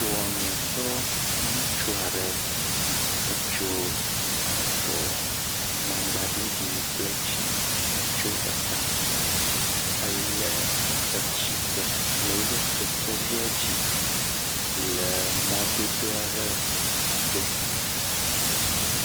wɔmitɔ nutsua ɖe etso avɔ mamgba ɖiɖi kple yibɔ etso eta éle etsigbe le eƒe kekevia dzi le e mɔdodo aɖe to